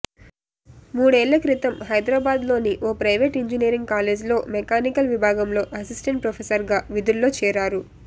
మూడేళ్ల క్రితం హైదరాబాద్లోని ఓ ప్రైవేటు ఇంజినీరింగ్ కాలేజ్లో మెకానికల్ విభాగంలో అసిస్టెంట్ ప్రొఫెసర్గా విధుల్లో చేరారు